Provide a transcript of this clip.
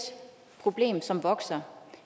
problem som vokser